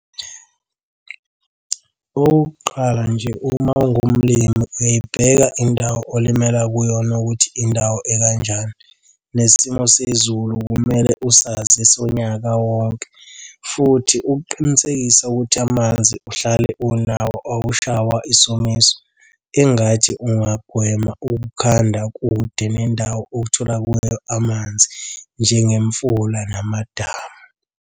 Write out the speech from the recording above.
Okokuqala nje uma ungumlimi uyayibheka indawo olimela kuyona ukuthi indawo ekanjani. Nesimo sezulu kumele usazi sonyaka wonke, futhi ukuqinisekise ukuthi amanzi uhlale unawo awushaywa isomiso. Engathi ungagwema ukukhanda kude nendawo othola kuyo amanzi njengemfula namadamu.